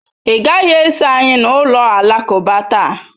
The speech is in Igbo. Ị gaghị eso anyị na ụlọ alakụba taa.